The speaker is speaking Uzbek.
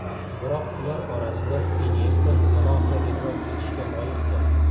Biroq ular orasida Inyesta alohida e’tirof etishga loyiqdir.